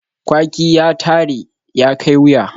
Kwaki ya tare, ya kai wuya